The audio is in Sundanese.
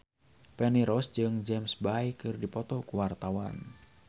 Feni Rose jeung James Bay keur dipoto ku wartawan